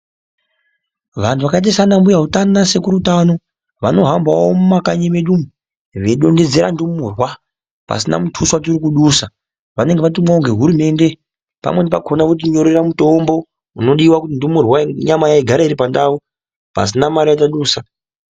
Vantu vakaite saana mbuya utano naana sekuru utano vano hambawo mumaknyi medu umu veidondedzera ndumurwa pasina mutuso watiri kudusa vanenge vatumwawo ngehurumende pamweni pakona voti nyorera mitombo unodiwa kuti ndumurwa nyama yayo igare iri pandau pasina mare yatadusa.